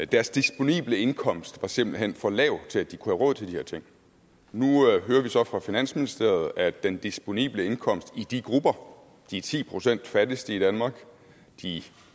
deres disponible indkomst var simpelt hen for lav til at de kunne have råd til de her ting nu hører vi så fra finansministeriet at den disponible indkomst i de grupper de ti procent fattigste i danmark de